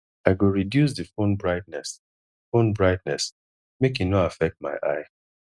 i go reduce di phone brightness phone brightness make e no affect my eye